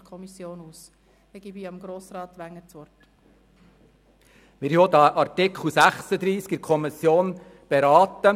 der SiK. Wir haben Artikel 36 Absatz 1 in der Kommission beraten.